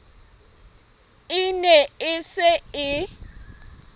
e ne e se e